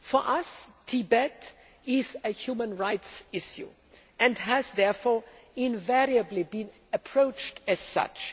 For us, Tibet is a human rights issue and has therefore invariably been approached as such.